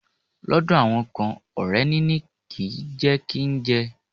Lọ́dọ̀ àwọn kan, ọrẹ níní ni jẹ kí n jẹ.